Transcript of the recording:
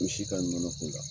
Misi ka nɔnɔ k'u la.